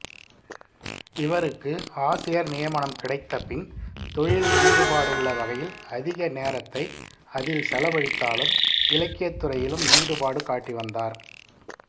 இவருக்கு ஆசிரியர் நியமனம் கிடைத்தபின் தொழிலில் ஈடுபாடுள்ள வகையில் அதிக நேரத்தை அதில் செலவழித்தாலும் இலக்கியத்துறையிலும் ஈடுபாடு காட்டிவந்தார்